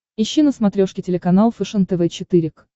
ищи на смотрешке телеканал фэшен тв четыре к